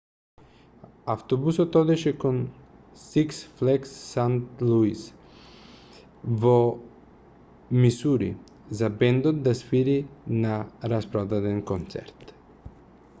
автобусот одеше кон six flags st louis во мисури за бендот да свири на распродаден концерт